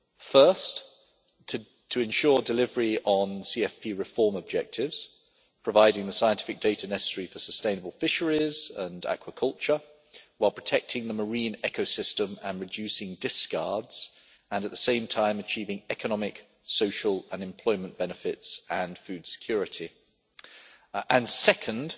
First, to ensure delivery on CFP reform objectives, providing the scientific data necessary for sustainable fisheries and aquaculture, while protecting the marine ecosystem and reducing discards and, at the same time, achieving economic, social, unemployment benefits and food security. Second,